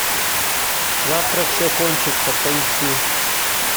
завтра все кончится поищи